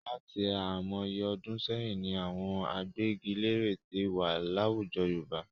Láti àìmọye ọdún sẹ́yìn ni àwọn agbẹ́giléèrè tí wà láwùjọ Yorùbá.